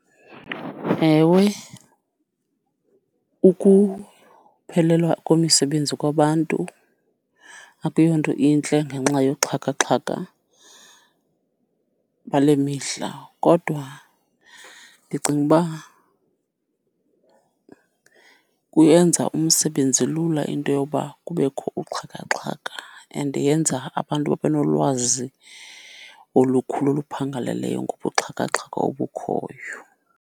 Ewe, ukuphelelwa komisebenzi kwabantu akuyonto intle ngenxa yoxhakaxhaka bale mihla, kodwa ndicinga uba kuyenza umsebenzi lula into yoba kubekho uxhakaxhaka and yenza abantu babe nolwazi olukhulu oluphangaleleyo ngobuxhakaxhaka obukhoyo.